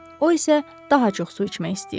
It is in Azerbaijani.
O isə daha çox su içmək istəyirdi.